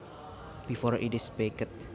before it is baked